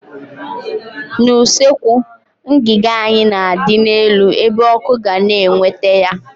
N' usekwu, ngiga anyị na adị n'elu ebe ọkụ ga na eweta ya